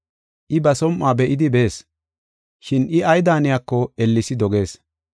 I ba som7uwa be7idi bees, shin I ay daaniyako ellesi dogees.